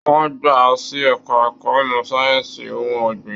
Wọn gbà a sì ẹka ẹ̀kọ́ ìmọ sáyẹnsì ohùn ọgbin.